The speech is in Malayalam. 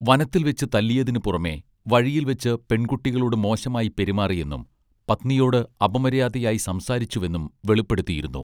വനത്തിൽ വെച്ച് തല്ലിയതിനു പുറമെ വഴിയിൽ വെച്ച് പെൺകുട്ടികളോട് മോശമായി പെരുമാറിയെന്നും പത്നിയോട് അപമര്യാദയായി സംസാരിച്ചുവെന്നും വെളിപ്പെടുത്തിയിരുന്നു